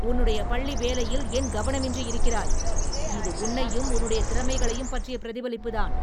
உன்னுடைய பள்ளி வேலையில் ஏன் கவனமின்றி இருக்கிறாய்? இது உன்னையும் உன்னுடைய திறமைகளையும் பற்றிய பிரதிபலிப்புதான்!